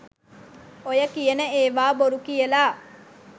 ඔය කියන ඒවා බොරු කියලා.